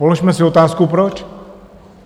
Položme si otázku - proč?